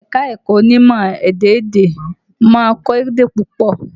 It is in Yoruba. Ẹ̀ka-ẹ̀kọ onímọ̀ ẹ̀dá-èdè ma ń kọ́ èdè púpọ.